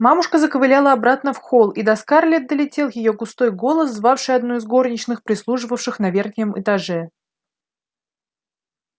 мамушка заковыляла обратно в холл и до скарлетт долетел её густой голос звавший одну из горничных прислуживавших на верхнем этаже